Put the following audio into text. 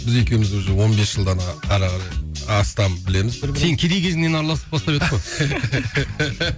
біз екеуміз уже он бес жылдан ары қарай астам білеміз бір бірімізді сен кедей кезіңнен араласып бастап едік қой